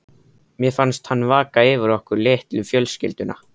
Mér finnst hann vaka yfir okkur, litlu fjölskyldunni.